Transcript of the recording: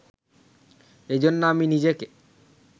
এজন্যে আমি নিজেকে